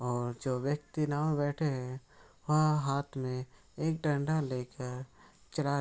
और जो व्यक्ति नाव में बैठे हैं। वह हाथ में एक डंडा लेकर चला --